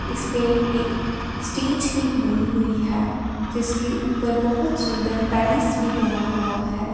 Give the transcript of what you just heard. इसपे एक स्टेज भी बनी हुई है जिसके ऊपर बहुत सुंदर पैलेस भी बना हुआ है।